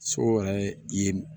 So yɛrɛ ye